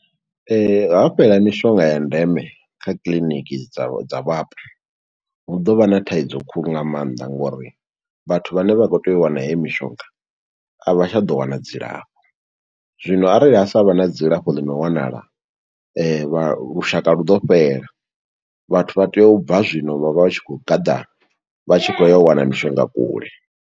Ha fhela mishonga ya ndeme, kha kiḽiniki dza dza vhapo, hu ḓo vha na thaidzo khulu nga maanḓa, ngo uri vhathu vhane vha khou tea u wana heyo mishonga, a vha tsha ḓo wana dzi lafho. Zwino arali ha sa vha na dzi lafho ḽi no wanala, vha lushaka lu ḓo fhela. Vhathu vha tea u bva zwino, vha vha vha tshi khou gaḓa, vha tshi khou ya u wana mishonga kule.